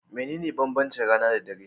Mene ne banbanci rana da dare?